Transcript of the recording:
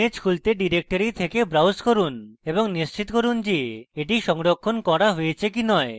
image খুলতে directory থেকে browse করুন এবং এবং নিশ্চিত করুন যে এটি সংরক্ষণ করা হয়েছে কি নয়